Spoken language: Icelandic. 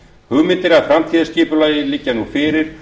hugmyndir að framtíðarskipulagi liggja nú fyrir